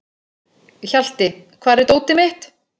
Hjalti, hvar er dótið mitt?